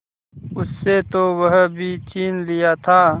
उससे तो वह भी छीन लिया था